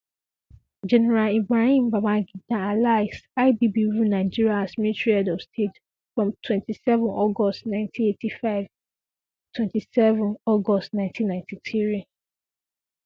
general ibrahim babangida alias ibb rule nigeria as military head of state from 27 august 1985 27 um august 1993 um